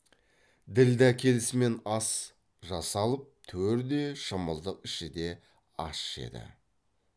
ділдә келісімен ас жасалып төр де шымылдық іші де ас жеді